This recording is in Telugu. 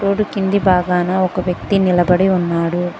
కింది భాగాన ఒక వ్యక్తి నిలబడి ఉన్నాడు.